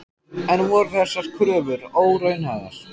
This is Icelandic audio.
En voru þessar kröfur óraunhæfar?